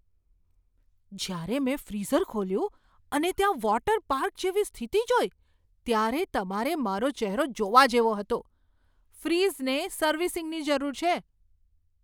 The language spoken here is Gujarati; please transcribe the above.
જ્યારે મેં ફ્રીઝર ખોલ્યું અને ત્યાં વોટર પાર્ક જેવી સ્થિતિ જોઈ ત્યારે તમારે મારો ચહેરો જોવા જેવો હતો. ફ્રીજને સર્વિસિંગની જરૂર છે.